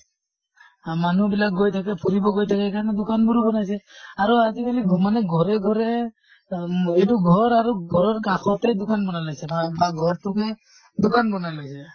আ মানুহ বিলাক গৈ থাকে ফুৰিব গৈ থাকে সেইকাৰণে দোকান বোৰো বনাইছে। আৰু আজি কালি মানে ঘৰে ঘৰে আম এইটো ঘৰ আৰু ঘৰৰ কাষতে দোকান বনাই লৈছে ঘৰতোকে দোকান বনাই লৈছে